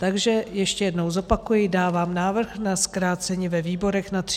Takže ještě jednou zopakuji, dávám návrh na zkrácení ve výborech na 30 dnů.